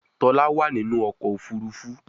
Tola wá nínú ọkọ̀ òfurufú.